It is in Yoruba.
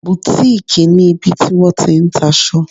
Boutique' ni ibi tí wọ́n ti n ta aṣọ